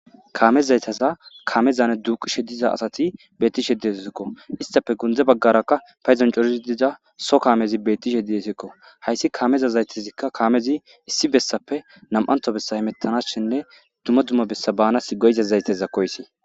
kaame zayteza kaamezaane duuqishe diza asati beettishe diessikko istafe gundze baggarakka payzoncorizi diza so kaamezi bettishe didesekko hayssi kaameza zaytazikka kaamezi issi bessappe nam7anto bessa himettanas shenne duma dumma bessa baanas goyza zayteza koysi